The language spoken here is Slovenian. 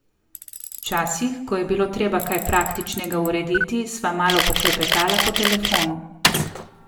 Včasih, ko je bilo treba kaj praktičnega urediti, sva malo poklepetala po telefonu.